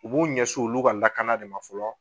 U b'u ɲɛs'olu ka lakanda de ma fɔlɔ